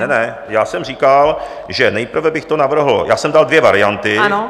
Ne, ne, já jsem říkal, že nejprve bych to navrhl - já jsem dal dvě varianty...